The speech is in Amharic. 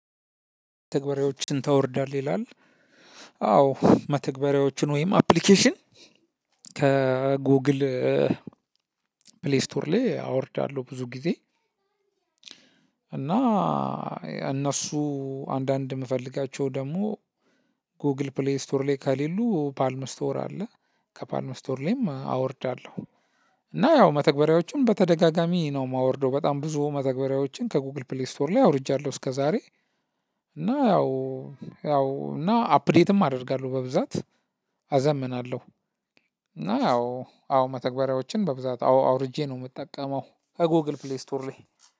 መተግበርያዎችን ታወርዳለህ ይላል? አዎ መተግበርያዎችን ወይም አፕልኬሽን ከጎግል ፕሌይስቶር ላይ አወርዳለሁ ብዙ ጊዜ። እና እነሱ አንዳንድ የምፈልጋቸው ደግሞ ጎግል ፕሌይ ስቶር ላይ ከሌሉ ፓልም ስቶር አለ ከፓልም ስቶር ላይም አወርዳለሁ። እና ያው መተግበሪያዎችን በተደጋጋሚ ነው የማወርደው በጣም ብዙ መተግበሪያዎችን ከጉግል ፕሌይ ስቶር ላይ አውርጃለሁ። እስከዛሬ እና ያው ያው እና አፕዴትም አደርጋለሁ በብዛት አዘምናለሁ። እና ያው አዎ መተግበሪያዎችን በብዛት አውርጄ ነው የምጠቀመው። ከጎግል ፕሌይ ስቶር ላይ